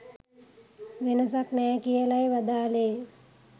වෙනසක් නෑ කියලයි වදාළේ